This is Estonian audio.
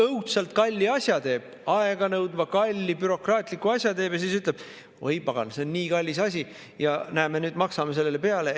Õudselt kalli asja teeb, aeganõudva, kalli bürokraatliku asja teeb ja siis ütleb: "Oi pagan, see on nii kallis asi ja näe, me nüüd maksame sellele peale.